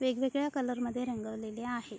वेगवेगळ्या कलर मध्ये रंगवलेले आहेत.